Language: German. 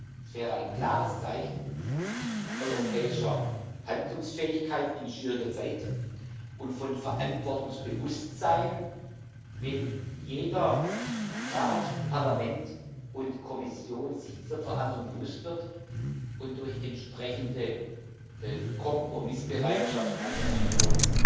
Das wäre ein klares Zeichen europäischer Handlungsfähigkeit in schwieriger Zeit und von Verantwortungsbewusstsein, wenn jeder, Rat, Parlament und Kommission, sich der Verantwortung bewusst wird und durch entsprechende Kompromissbereitschaft eine Einigung